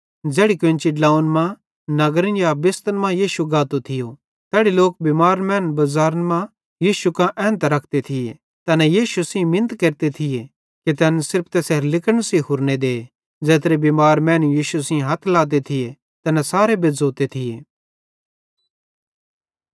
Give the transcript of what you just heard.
ज़ेड़ी कोन्ची ड्लोंव्वन मां नगरन या बेस्तन मां यीशु गातो थियो तैड़ी लोक बिमार मैनन् बज़ारन मां यीशु कां एन्तां रखते थिये तैना यीशु सेइं मिन्त केरते थिये कि तैन सिर्फ तैसेरे लिगड़े सेइं हुरने देन ज़ेत्रे बिमार मैनू यीशु सेइं हथ लाते थिये तैना सारे बेज़्झ़ोते थिये